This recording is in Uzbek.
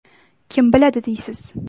Kim biladi, deysiz?!